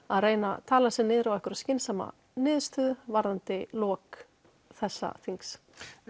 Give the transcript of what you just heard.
að reyna að tala sig niður á einhverja skynsama niðurstöðu varðandi lok þessa þings